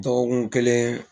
Dɔgɔkun kɛlen